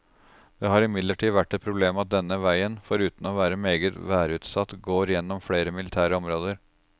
Det har imidlertid vært et problem at denne veien, foruten å være meget værutsatt, går gjennom flere militære områder.